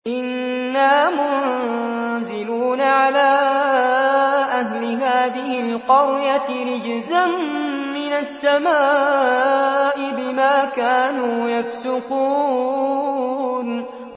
إِنَّا مُنزِلُونَ عَلَىٰ أَهْلِ هَٰذِهِ الْقَرْيَةِ رِجْزًا مِّنَ السَّمَاءِ بِمَا كَانُوا يَفْسُقُونَ